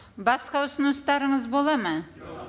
басқа ұсыныстарыңыз болады ма